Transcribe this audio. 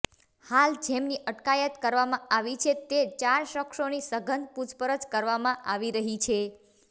હાલ જેમની અટકાયત કરવામાં આવી છે તે ચાર શખ્સોની સઘન પૂછપરછ કરવામાં આવી રહી છે